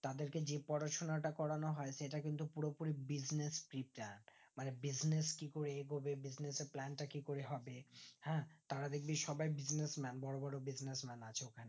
তাদেরকে যে পড়াশোনাটা করানো হয় সেটা কিন্তু পুরোপুরি business fitter মানে business কি করে এগোবে business এর plan টা কি করে হবে হ্যাঁ তারা দেখবি সবাই business man বড়ো বড়ো business man আছে ওখানে